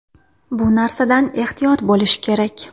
Bu narsadan ehtiyot bo‘lish kerak.